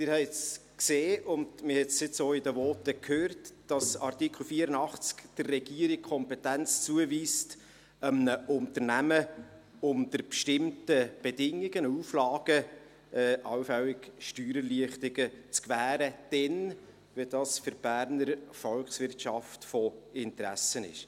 Sie haben es gesehen und man hat es jetzt auch in den Voten gehört, dass der Artikel 84 der Regierung die Kompetenz zuweist, einem Unternehmen unter bestimmten Bedingungen und Auflagen allfällige Steuererleichterungen zu gewähren, nämlich dann, wenn dies für die Berner Volkswirtschaft von Interesse ist.